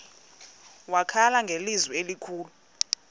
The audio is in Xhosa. wakhala ngelizwi elikhulu